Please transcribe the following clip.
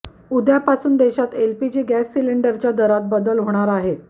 उद्यापासून देशात LPG gas सिलेंडरच्या दरात बदल होणार आहेत